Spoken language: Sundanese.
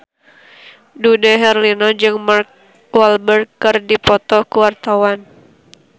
Dude Herlino jeung Mark Walberg keur dipoto ku wartawan